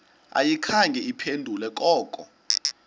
ayikhange iphendule koko